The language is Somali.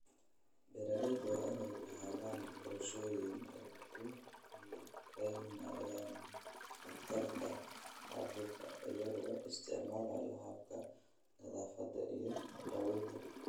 Beeralayda waa inay lahaadaan qorshooyin ay ku yareynayaan khatarta caabuqa iyagoo isticmaalaya hababka nadaafadda iyo daawaynta.